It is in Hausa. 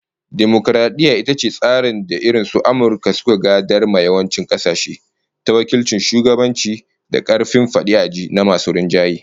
Dimokaradiyya ita ce tsarin da irin su Amurka suka gadar ma yawancin kasashe, ta wakilcin shugabanci da karfin fadi a ji na masu rinjaye